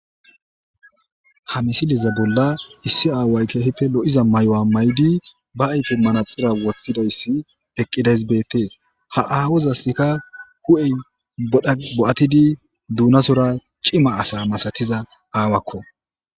ha misileza bolla issi aaway kehpe lo7iza may7o7a may7di ba ayfe manaxira woththidayssi eqqidays beettees ha aawozasska hu7ey bo7atidi duunasora cima asa masatiza aawakko